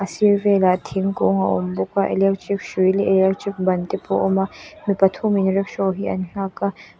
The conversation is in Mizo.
a sir velah thingkung a awm bawk a electric hrui leh electric ban te pawh a awm a mi pathumin rickshaw hi an nghak a.